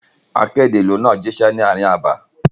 Akéde ìlú náà jíṣẹ́ ní ààrin abà.